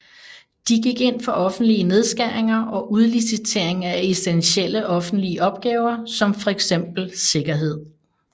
De gik ind for offentlige nedskæringer og udlicitering af essentielle offentlige opgaver som fx sikkerhed